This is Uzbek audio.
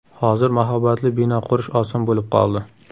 Hozir mahobatli bino qurish oson bo‘lib qoldi.